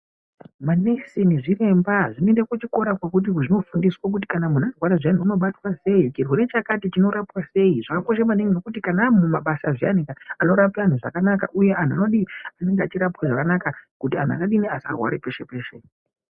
Manesi nezviremba zvinoende kuchikora kwekuti zvinofundiswa kana muntu arwara unobatwa sei, chirwere chakati chinorapwa sei zvakakosha maningi kana vamumabasa zviyani anorapa antu zvakanaka uye anhu anodii, anonga achirapwe zvakanaka kuti anhu asarware peshe peshe.